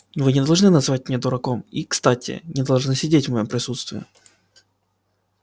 вы не должны называть меня дураком и кстати не должны сидеть в моем присутствии